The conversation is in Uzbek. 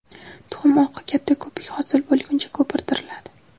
Tuxum oqi qattiq ko‘pik hosil bo‘lguncha ko‘pirtiriladi.